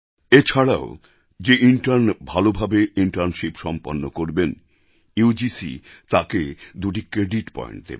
এছাড়াও যে ইন্টার্ন ভালো ভাবে ইন্টার্নশিপ সম্পন্ন করবেন ইউজিসি তাঁকে দুটি ক্রেডিট পয়েন্ট দেবে